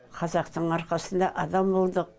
қазақтың арқасында адам болдық